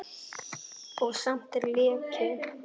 Og samt er leki.